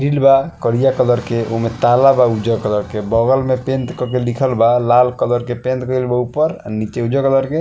Grill बा करइया colour के ओमे ताला बा उजर कलर के बगल में पेंट कर के लिखल बा लाल कलर पेंट गइल ऊपर और नीचे उजर कलर के।